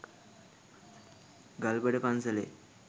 ගල්බඩ පන්සලේ